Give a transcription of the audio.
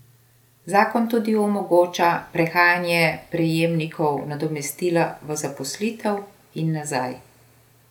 Zakon tudi omogoča prehajanje prejemnikov nadomestila v zaposlitev in nazaj.